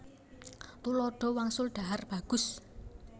Tuladha wangsul dhahar bagus